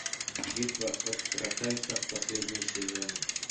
битва экстрасенсов последний сезон